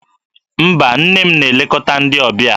Mba, nne m na-elekọta ndị ọbịa.